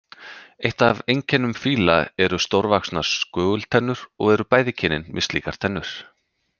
Eitt af einkennum fíla eru stórvaxnar skögultennur og eru bæði kynin með slíkar tennur.